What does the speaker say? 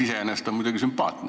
Iseenesest on see muidugi sümpaatne.